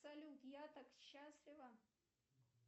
салют я так счастлива